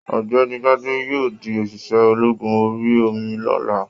Ọ̀gbẹ́ni Gbade yóò di oṣiṣẹ ológun orí omi l'ọla.